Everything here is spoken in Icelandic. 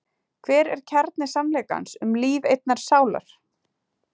Hver er kjarni sannleikans um líf einnar sálar?